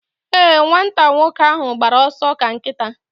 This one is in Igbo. Ee, nwata nwoke ahụ gbara ọsọ ka nkịta